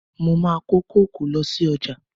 Mo máa ko kókò lọ sí ọjà.